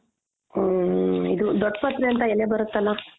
ಹ ಇದು ದೊಡ್ಡ್ ಪತ್ರೆ ಅಂತ ಎಲೆ ಬರುತ್ತಲ .